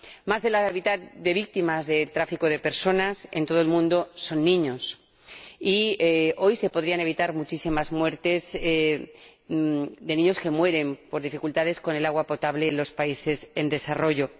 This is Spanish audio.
Más de la mitad de víctimas del tráfico de personas en todo el mundo son niños y hoy se podrían evitar muchísimas muertes de niños que mueren por dificultades con el agua potable en los países en desarrollo.